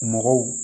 Mɔgɔw